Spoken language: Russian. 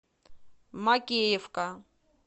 макеевка